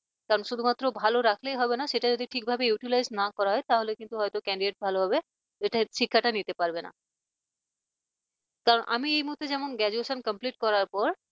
কারণ শুধুমাত্র ভালো রাখলেই হবে না সেটা যদি ঠিকভাবে utilized না করা হয় তাহলে কিন্তু হয়তো candidate ভালোভাবে এটা শিক্ষাটা নিতে পারবে না কারণ আমি এই মুহূর্তে যখন graduation complete করার পর